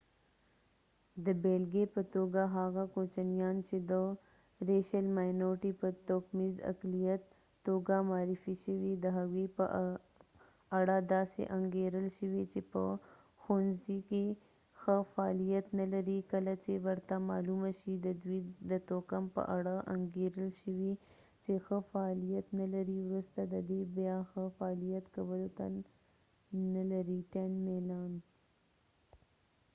د بیلګی په توګه هغه کوچنیان چې د توکمیز اقلیت racial minority په توګه معرفی شوي د هغوي په اړه داسې انګیرل شوي چې په ښوونڅی کې ښه فعالیت نه لري کله چې ورته معلومه شي ددوي د توکم په اړه انګیرل شوي چې ښه فعالیت نه لري وروسته ددې بیا ښه فعالیت کولو ته میلانtend نه لري